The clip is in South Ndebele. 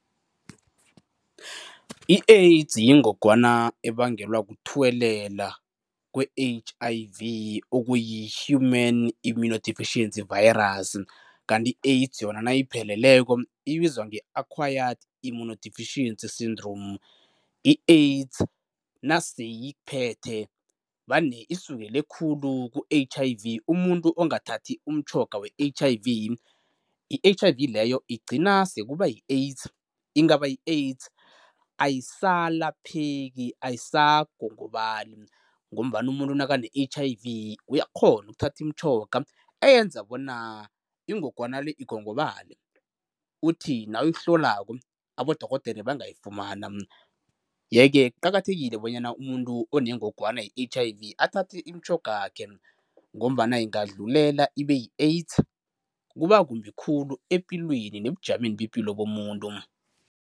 I-AIDS yingogwana ebangelwa kuthuwelela kwe-H_I_V okuyi-Human immunodeficiency virus kanti i-AIDS yona nayipheleleko ibizwa nge-Acquired immunodeficiency syndrome. I-AIDS naseyikuphethe vane isukele khulu ku-H_I_V. Umuntu ongathathi umtjhoga we-H_I_V, i-H_I_V leyo igcina sekuba yi-AIDS, ingaba yi-AIDS ayisalapheki, ayisagongobali ngombana umuntu nakane-H_I_V uyakghona ukuthatha imitjhoga eyenza bona ingogwana le igongobale kuthi nawuyihlolako abodorhodere bangayifumana, yeke kuqakathekile bona umuntu onengogwana ye-H_I_V athathe imitjhoga yakhe ngombana ingadlulela ibe yi-AIDS kuba kumbi khulu epilweni nebujameni bepilo bomuntu.